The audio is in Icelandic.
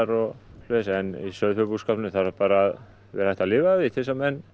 en í sauðfjárbúskapnum þarf bara að vera hægt að lifa af því til þess að menn